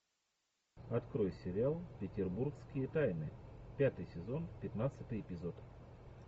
открой сериал петербургские тайны пятый сезон пятнадцатый эпизод